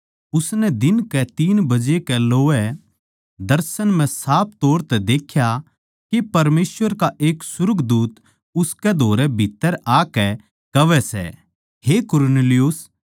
उसनै दिन कै बजे कै लोवै दर्शन म्ह साफ तौर तै देख्या के परमेसवर का एक सुर्गदूत उसकै धोरै भीत्त्तर आकै कहवै सै हे कुरनेलियुस